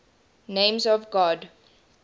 names of god